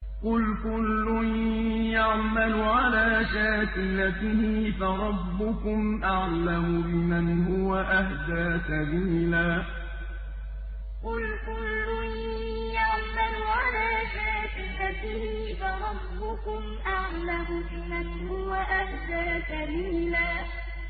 قُلْ كُلٌّ يَعْمَلُ عَلَىٰ شَاكِلَتِهِ فَرَبُّكُمْ أَعْلَمُ بِمَنْ هُوَ أَهْدَىٰ سَبِيلًا قُلْ كُلٌّ يَعْمَلُ عَلَىٰ شَاكِلَتِهِ فَرَبُّكُمْ أَعْلَمُ بِمَنْ هُوَ أَهْدَىٰ سَبِيلًا